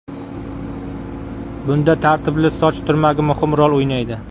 Bunda tartibli soch turmagi muhim rol o‘ynaydi.